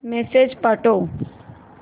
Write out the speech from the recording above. message पाठव